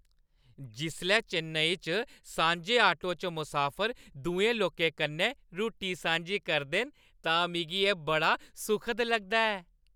जिसलै चेन्नई च सांझे आटो च मुसाफर दुए लोकें कन्नै रुट्टी सांझी करदे न तां मिगी एह् बड़ा सुखद लगदा ऐ।